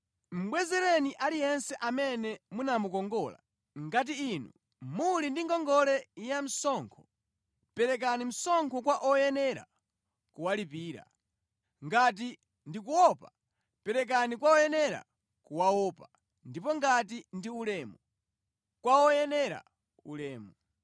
Mubwezereni aliyense amene munamukongola. Ngati inu muli ndi ngongole yamsonkho, perekani msonkho kwa oyenera kuwalipira. Ngati ndi kuopa perekeni kwa oyenera kuwaopa ndipo ngati ndi ulemu kwa oyenera ulemu.